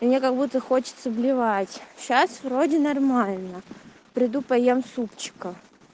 мне как-будто хочется блевать сейчас вроде нормально приду поем супчика